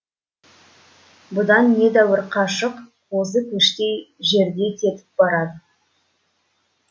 бұдан недәуір қашық қозы көштей жерде кетіп барады